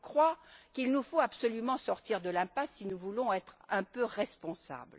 Je crois que nous devons absolument sortir de l'impasse si nous voulons être un peu responsables.